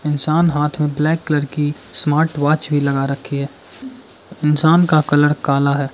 इंसान हाथ में ब्लैक कलर की स्मार्टवॉच भी लगा रखी है इंसान का कलर काला है।